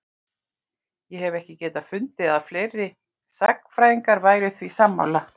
Ég hef ekki getað fundið að fleiri sagnfræðingar væru því sammála?